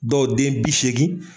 Dɔw den bi seegin